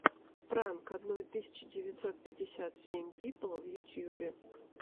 пранк одной тысячи девятьсот пятьдесят семь пипл в ютьюбе